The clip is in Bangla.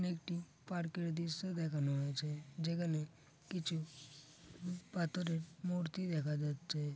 এখানে একটি পার্ক -এর দৃশ্য দেখা হয়েছে যেখানে কিছু পাথরের মূর্তি দেখা যাচ্ছে।